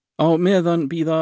á meðan bíða